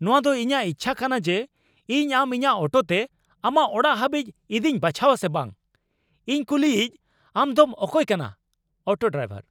ᱱᱚᱶᱟᱫᱚ ᱤᱧᱟᱹᱜ ᱤᱪᱪᱷᱟᱹ ᱠᱟᱱᱟ ᱡᱮ ᱤᱧ ᱟᱢ ᱤᱧᱟᱹᱜ ᱚᱴᱳ ᱛᱮ ᱟᱢᱟᱜ ᱚᱲᱟᱜ ᱦᱟᱹᱵᱤᱡ ᱤᱫᱤᱧ ᱵᱟᱪᱷᱟᱣᱟ ᱥᱮ ᱵᱟᱝ ᱾ ᱤᱧ ᱠᱩᱞᱤᱭᱤᱡ ᱟᱢᱫᱚᱢ ᱚᱠᱚᱭ ᱠᱟᱱᱟ ? (Auto driver)